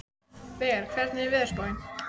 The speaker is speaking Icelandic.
Veiga, hvernig er veðurspáin?